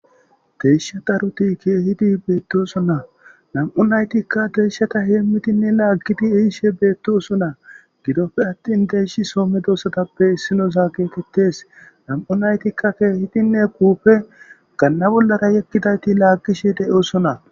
deyshataruti keehiti beettosonna nam7u naytikka deeshata heemmitinne laaggidi iishe beettosonna gidoppe attin deyshi somme doossatappe issinozaa geetettes nam7u naytikka keehitinne kuufe ganna bollara yekkidayti laaggishe de7osona